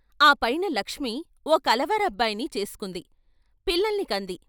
ఆ పైన లక్ష్మి ఓ కలవారబ్బాయిని చేసుకుంది పిల్లల్ని కంది.